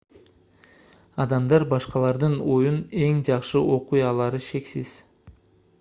адамдар башкалардын оюн эң жакшы окуй алары шексиз